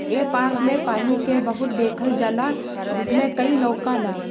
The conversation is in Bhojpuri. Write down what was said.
ए पार्क मे पानी के बहुत देखल जला जिसमे कई लोकाला ।